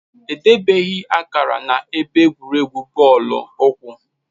Edebeghị akara na-ebe egwuregwu bọọlụ ụkwụ